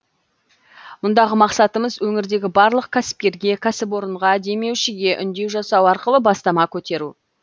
мұндағы мақсатымыз өңірдегі барлық кәсіпкерге кәсіпорынға демеушіге үндеу жасау арқылы бастама көтеру